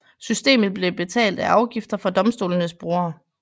Systemet blev betalt af afgifter fra domstolenes brugere